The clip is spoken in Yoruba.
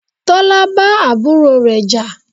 Tọ́lá bá àbúrò rẹ jà.